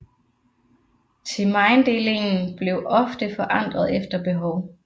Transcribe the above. Themainddelingen blev ofte forandret efter behov